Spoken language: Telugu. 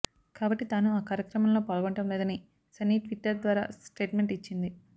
కాబట్టి తాను ఆ కార్యక్రమంలో పాల్గొనడం లేదని సన్నీ ట్విట్టర్ ద్వారా స్టేట్మెంట్ ఇచ్చింది